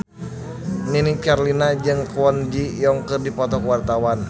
Nini Carlina jeung Kwon Ji Yong keur dipoto ku wartawan